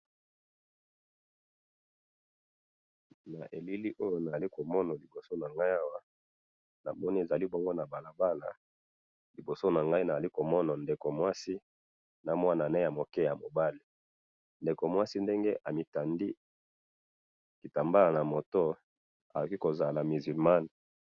Awa na moni ndeko ya mwasi asimbi mwana bazo tambola na balabala, mwasi alati kitambala na mutu lokola ba musulmans.